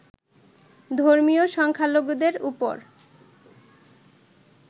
ধর্মীয় সংখ্যালঘুদের ওপর